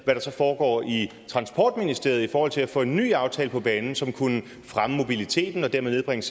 hvad der foregår i transportministeriet i forhold til at få en ny aftale på banen som kunne fremme mobiliteten og dermed nedbringe